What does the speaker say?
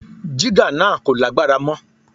Jígà náà kò lágbára mọ́.